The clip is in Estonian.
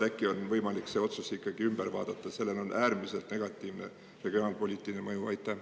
Äkki oleks võimalik see otsus ikkagi ümber vaadata, sest sellel on äärmiselt negatiivne mõju regionaalpoliitikale?